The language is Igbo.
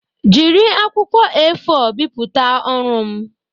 Jiri akwụkwọ A4 bipụta ọrụ m